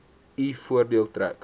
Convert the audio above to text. u voordeel trek